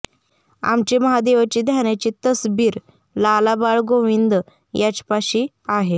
आमचे महादेवाचे ध्यानाची तसबीर लाला बाळ गोविंद याजपाशी आहे